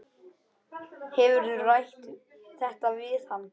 Hefurðu rætt þetta við hann?